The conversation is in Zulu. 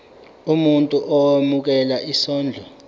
umuntu owemukela isondlo